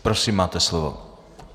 Prosím, máte slovo.